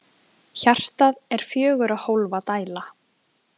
Hjartað er fjögurra hólfa dæla.